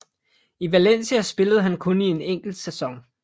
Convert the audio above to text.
I Valencia spillede han kun i en enkelt sæson